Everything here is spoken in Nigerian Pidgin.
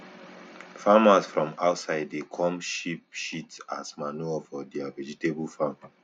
farmers from outside dey come sheep shit as manure for their vegetable farm